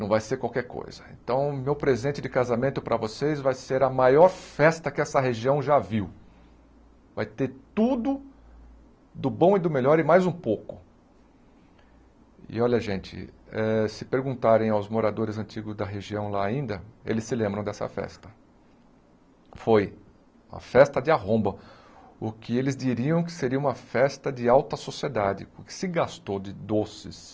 não vai ser qualquer coisa então meu presente de casamento para vocês vai ser a maior festa que essa região já viu vai ter tudo do bom e do melhor e mais um pouco e olha gente eh se perguntarem aos moradores antigos da região lá ainda eles se lembram dessa festa foi uma festa de arromba o que eles diriam que seria uma festa de alta sociedade o que se gastou de doces